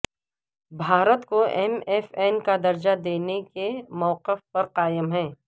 بھارت کو M F N کا درجہ دینے کے موقف پر قائم ہیں